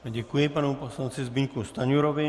Děkuji panu poslanci Zbyňku Stanjurovi.